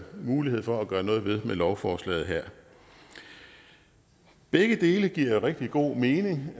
mulighed for at gøre noget ved med lovforslaget her begge dele giver jo rigtig god mening